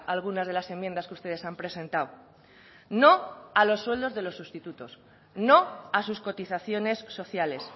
algunas de las enmiendas que ustedes han presentado no a los sueldos de los sustitutos no a sus cotizaciones sociales